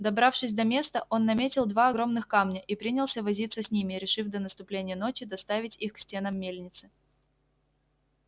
добравшись до места он наметил два огромных камня и принялся возиться с ними решив до наступления ночи доставить их к стенам мельницы